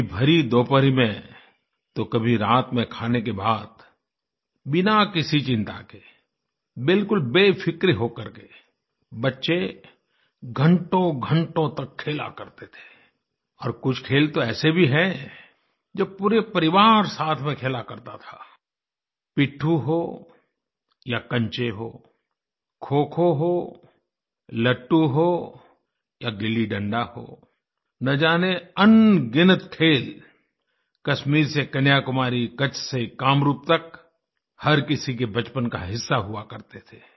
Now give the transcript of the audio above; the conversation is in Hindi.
कभी भरी दोपहरी में तो कभी रात में खाने के बाद बिना किसी चिंता के बिल्कुल बेफिक्र होकर के बच्चे घंटोघंटो तक खेला करते थे और कुछ खेल तो ऐसे भी हैंजो पूरा परिवार साथ में खेला करता था पिट्ठू हो या कंचे हो खोखो होलट्टू हो या गिल्लीडंडा हो न जानेअनगिनत खेल कश्मीर से कन्याकुमारी कच्छ से कामरूप तक हर किसी के बचपन का हिस्सा हुआ करते थे